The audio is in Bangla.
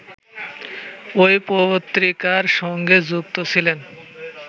ঐ পত্রিকার সঙ্গে যুক্ত ছিলেন